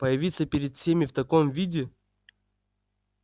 появиться перед всеми в таком виде